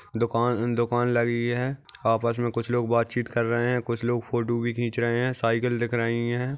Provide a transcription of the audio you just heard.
दुकान-दुकान लगी है। आपस में कुछ लोग बातचीत कर रहे है कुछ लोग फोटो भी खीच रहे है। साइकिल दिख रही है।